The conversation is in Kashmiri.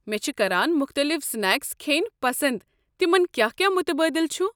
مےٚ چھِ کران مُختلِف سنیکس کھیٚنہِ پسنٛد، تمن کیٛاہ کیٛاہ مُتبٲدِل چھ؟